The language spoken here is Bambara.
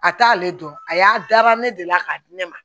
A t'ale dɔn a y'a dara ne delila k'a di ne ma